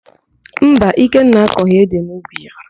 Mba, Ikenna akọghị édè n'ubi ya.